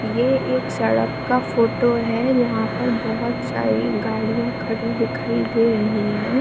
ये एक सड़क का फोटो है। जहां पर बहुत सारी गाड़ियां खड़ी दिखाई दे रही है।